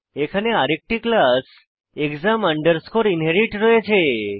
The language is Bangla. এখানে আরেকটি ক্লাস এক্সাম আন্ডারস্কোর ইনহেরিট রয়েছে